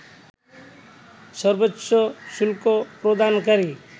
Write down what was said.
সর্বোচ্চ শুল্ক প্রদানকারী